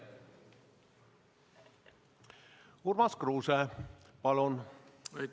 Urmas Kruuse, palun!